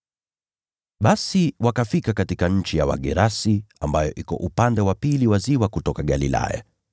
Basi wakafika katika nchi ya Wagerasi, ambayo iko upande wa pili wa ziwa kutoka Galilaya.